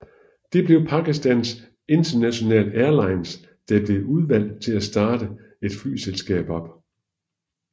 Det blev Pakistan International Airlines der blev udvalgt til at starte et flyselskab op